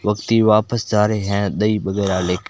वक्ती वापस जा रहे हैं दही वगैरह ले के--